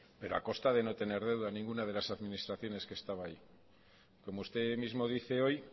pero a costa de no tener deuda ninguna de las administraciones que estaba ahí como usted mismo dice hoy